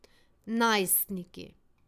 Najstniki.